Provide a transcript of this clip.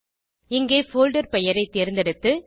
இங்கே போல்டர் பெயரை தேர்ந்தெடுத்து